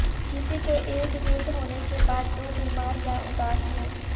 کسی کے ارد گرد ہونے کے بعد جو بیمار یا اداس ہو